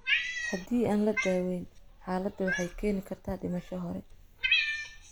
Haddii aan la daweyn, xaaladdu waxay keeni kartaa dhimasho hore.